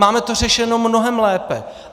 Máme to řešeno mnohem lépe.